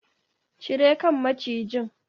Cire kan macijin!